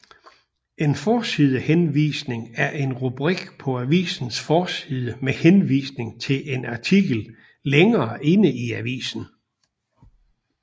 En forsidehenvisning er en rubrik på avisens forside med henvisning til en artikel længere inde i avisen